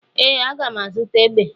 Ee, a ga m azụta egbe.